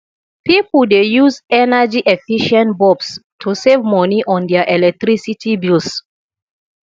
pipo dey use energyefficient bulbs to save money on their electricity bills